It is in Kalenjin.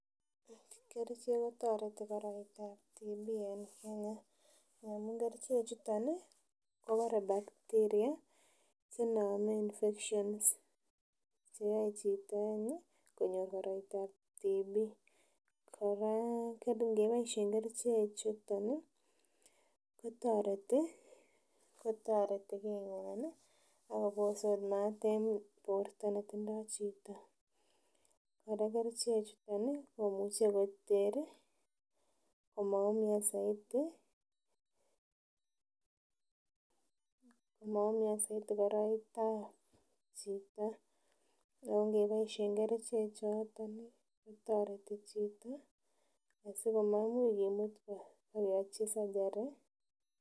Kerichek kotoreti koroitab tuberculosis en Kenya amun kerichek chuton ih kobore bacteria chenome infections cheyoe chito any ih konyor koroitab tuberculosis kora ngeboisyen kerichek chuton ih kotoreti kotoreti king'wan ih akobose ot maat en borto netindoo chito. Kora kerichek chuton ih komuche koter ih komaumian soiti komaumian soiti koroitab chito yon ngeboisyen kerichek choton kotoreti chito asikomainuch kimut keyochi surgery.